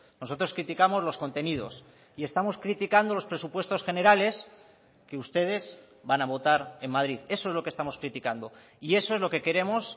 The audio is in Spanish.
nosotros criticamos los contenidos y estamos criticando los presupuestos generales que ustedes van a votar en madrid eso es lo que estamos criticando y eso es lo que queremos